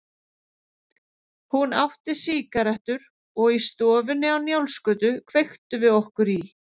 Hún átti sígarettur og í stofunni á Njálsgötu kveiktum við okkur í.